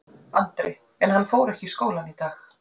Andri: En hann fór ekki í skólann í dag?